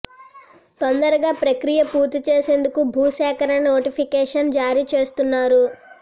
తొందరగా ప్రక్రియ పూర్తి చేసేందుకు భూ సేకరణ నోటిఫికేషన్ జారీ చేస్తున్నారు